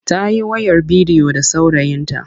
Ta yi wayar bidiyo da saurayinta.